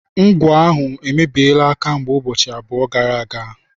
Ngwọ ahụ emebiela kamgbe ụbọchị abụọ gara aga.